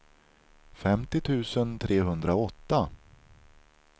femtio tusen trehundraåtta